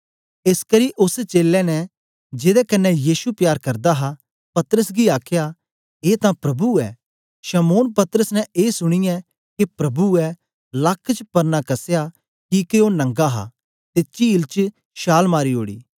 एसकरी ओस चेलें ने जेदे कन्ने यीशु प्यार करदा हा पतरस गी आखया ए तां प्रभु ऐ शमौन पतरस ने ए सुनीयै के प्रभु ऐ लक्क च परना कसया किके ओ नंगा हा ते चील च शाल मारी ओड़ी